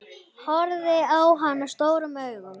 Horfði á hana stórum augum.